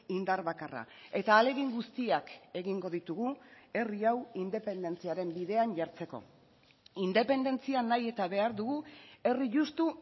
indar bakarra eta ahalegin guztiak egingo ditugu herri hau independentziaren bidean jartzeko independentzia nahi eta behar dugu herri justu